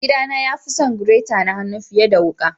Mai gida na ya fi son gireta na hannu fiyar da wuka.